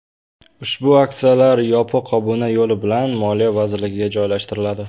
Ushbu aksiyalar yopiq obuna yo‘li bilan Moliya vazirligiga joylashtiriladi.